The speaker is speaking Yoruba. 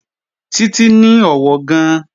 Títí ní ọ̀wọ̀ gan-an